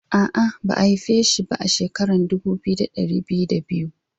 Aa, Ba'a haife shi ba a'shekaran dubu biyu da dari biyu da biyu ba.